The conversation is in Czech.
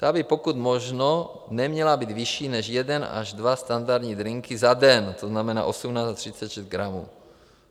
Ta by pokud možno neměla být vyšší než jeden až dva standardní drinky za den, to znamená 18 až 36 gramů.